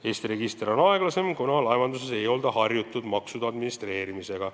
Eesti registriga läheb aeglasemalt, kuna laevanduses ei olda harjutud maksude administreerimisega.